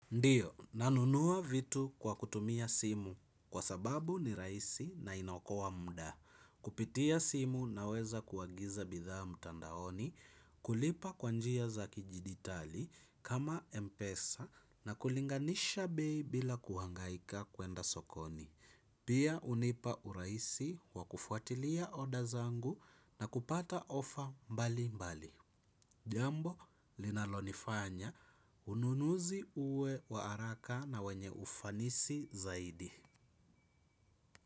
Ndiyo, nanunua vitu kwa kutumia simu, kwa sababu ni raisi na inaokoa muda. Kupitia simu na weza kuagiza bidhaa mtandaoni, kulipa kwa njia za kijiditali kama Mpesa, na kulinganisha bei bila kuhangaika kuenda sokoni. Pia hunipa urahisi wa kufuatilia oda zangu na kupata ofa mbali mbali. Jambo linalonifanya ununuzi uwe wa haraka na wenye ufanisi zaidi.